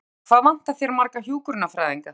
Erla Björg: Hvað vantar þér marga hjúkrunarfræðinga?